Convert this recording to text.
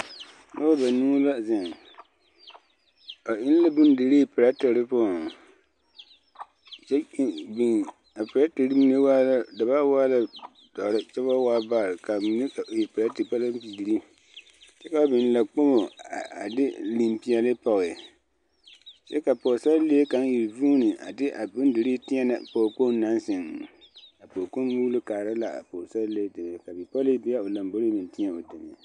Noba banuu la zeŋ ba eŋ la bondirii perɛtere poɔŋ a perɛtere mine da baa waa la dɔre kyɛ ba waa baare ka a mine e perɛte palampeɡre kyɛ ka ba biŋ laakpomo a de limpeɛle pɔɡe kyɛ ka pɔɡesarelee kaŋ iri vuune a de a bondirii tēɛnɛ pɔɔkpoŋ naŋ zeŋ a pɔɔkpoŋ muulo kaara la a pɔɡesarelee deme ka bipɔli deɛ are o lamboriŋ meŋ tēɛ o deme.